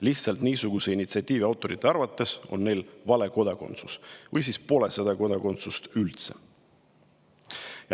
Lihtsalt niisuguse initsiatiivi autorite arvates on neil vale kodakondsus või siis pole seda kodakondsust üldse.